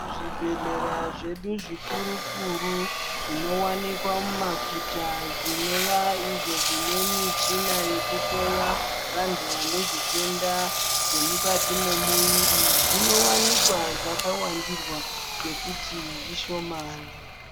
Zvibhedhlera zvedu zvikuru kuru zvinowanikwa mumaguta, zvinova izvo zvinemichina yekuhloya vantu vanezvitenda zvomukati momuyiri, zvinowanikwa zvakawandirwa ngekuti zvishomani.